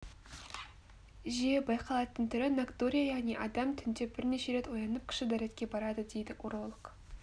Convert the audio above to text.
жиі байқалатын түрі ноктурия яғни адам түнде бірнеше рет оянып кіші дәретке барады дейді уролог